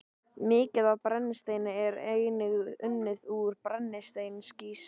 Mikið af brennisteini er einnig unnið úr brennisteinskís.